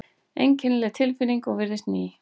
Einkennileg tilfinning og virðist ný.